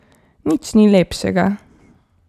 Nič ni lepšega.